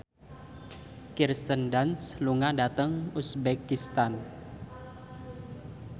Kirsten Dunst lunga dhateng uzbekistan